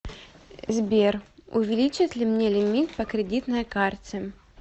сбер увиличат ли мне лимит по кридитной карте